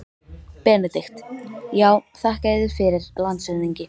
BENEDIKT: Já, þakka yður fyrir, landshöfðingi.